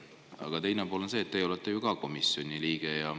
Aga teine pool on see, et teie olete ka komisjoni liige.